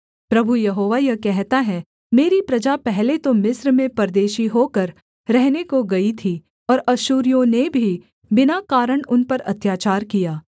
प्रभु यहोवा यह कहता है मेरी प्रजा पहले तो मिस्र में परदेशी होकर रहने को गई थी और अश्शूरियों ने भी बिना कारण उन पर अत्याचार किया